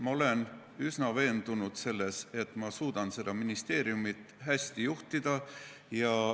Ma olen üsna veendunud selles, et ma suudan seda ministeeriumi hästi juhtida.